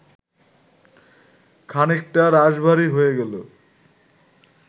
খানিকটা রাশভারী হয়ে গেল